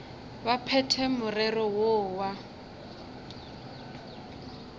ba phethe morero woo wa